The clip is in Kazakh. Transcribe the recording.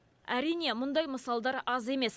әрине мұндай мысалдар аз емес